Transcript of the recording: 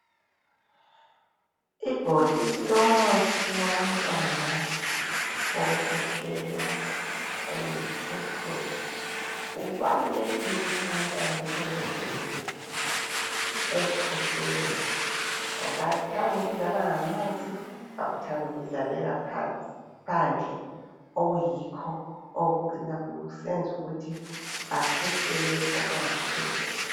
Ibhokisi lomuthi wabantwana wokukhwehlela eliyipurple, kubalulekile ukuthi abantwana bahlale bevikelekile ekukhwehleleni ngoba bayakuthanda ukudlala ngamanzi bayakuthanda ukudlalela phandle okuyikho okucina kuseza ukuthi bekhwehlele okungapheli.